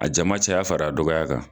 A jama caya fara a dɔgɔya kan.